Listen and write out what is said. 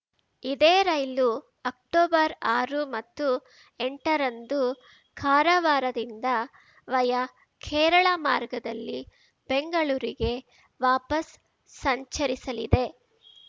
ಇದೇ ರೈಲು ಅಕ್ಟೊಬರ್ಆರು ಮತ್ತು ಎಂಟರಂದು ಕಾರವಾರದಿಂದ ವಯಾ ಕೇರಳ ಮಾರ್ಗದಲ್ಲಿ ಬೆಂಗಳೂರಿಗೆ ವಾಪಸ್‌ ಸಂಚರಿಸಲಿದೆ